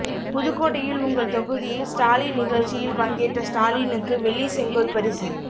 புதுக்கோட்டையில் உங்கள் தொகுதியில் ஸ்டாலின் நிகழ்ச்சியில் பங்கேற்ற ஸ்டாலினுக்கு வெள்ளி செங்கோல் பரிசு